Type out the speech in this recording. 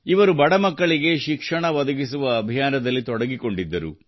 ಇವರು ಬಡ ಮಕ್ಕಳಿಗೆ ಶಿಕ್ಷಣ ಒದಗಿಸುವ ಅಭಿಯಾನದಲ್ಲಿ ತೊಡಗಿಕೊಂಡಿದ್ದರು